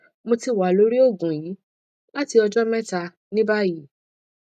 mo ti wa lori oogun yii lati ọjọ mẹta ni bayi